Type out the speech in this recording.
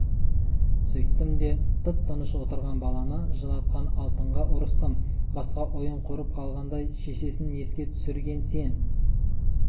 сөйттім де тып-тыныш отырған баланы жылатқан алтынға ұрыстым басқа ойын құрып қалғандай шешесін еске түсірген сен